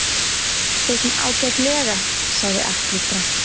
Sosum ágætlega, sagði Alli dræmt.